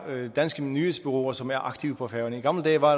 danske nyhedsbureauer som er aktive på færøerne i gamle dage var